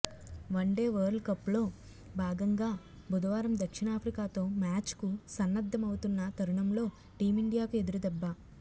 one day వరల్డ్కప్లో భాగంగా బుధవారం దక్షిణాఫ్రికాతో మ్యాచ్కు సన్నద్ధమవుతున్న తరుణంలో టీమిండియాకు ఎదురుదెబ్బ